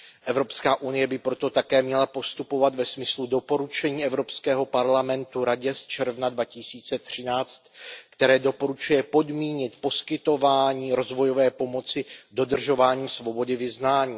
Evropská unie by proto také měla postupovat ve smyslu doporučení Evropského parlamentu Radě z června 2013, které doporučuje podmínit poskytování rozvojové pomoci dodržováním svobody vyznání.